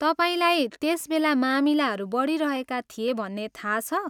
तपाईँलाई त्यस बेला मामिलाहरू बढिरहेका थिए भन्ने थाहा छ?